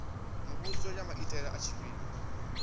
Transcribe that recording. muvhuso ya maitele a tshifhinga